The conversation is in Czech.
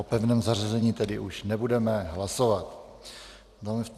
O pevném zařazení už tedy nebudeme hlasovat.